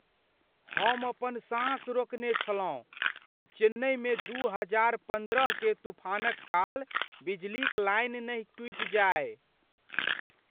हम अपन साँस रोकने छलहुँ कि चेन्नइमे दू हजार पन्द्रह के तूफानक काल बिजलीक लाइन नहि टूटि जाय।